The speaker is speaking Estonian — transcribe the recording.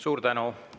Suur tänu!